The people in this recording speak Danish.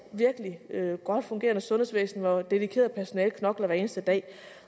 virkelig godt fungerende sundhedsvæsen hvor et dedikeret personale knokler hver eneste dag